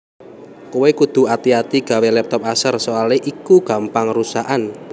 Kowe kudu ati ati gawe laptop Acer soale iku gampang rusakan